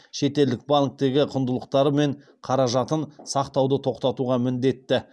шетелдік банктегі құндылықтары мен қаражатын сақтауды тоқтатуға міндетті